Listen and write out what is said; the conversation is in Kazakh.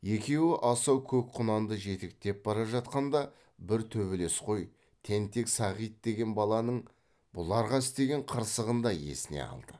екеуі асау көк құнанды жетектеп бара жатқанда бір төбелесқой тентек сағит деген баланың бұларға істеген қырсығын да есіне алды